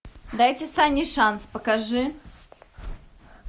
дайте санни шанс покажи